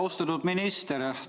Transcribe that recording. Austatud minister!